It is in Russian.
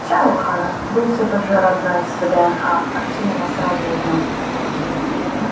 чай у хана был все тот же родной с вднх артём его сразу узнал